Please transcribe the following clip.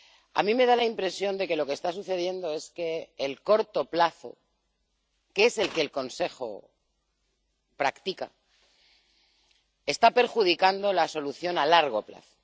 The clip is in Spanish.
A mí me da la impresión de que lo que está sucediendo es que el corto plazo —que es el que el Consejo practica— está perjudicando la solución a largo plazo.